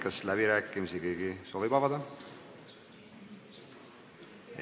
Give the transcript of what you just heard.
Kas keegi soovib läbirääkimisi pidada?